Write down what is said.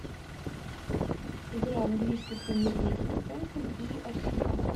игра английской премьер лиги тоттенхэм и арсенал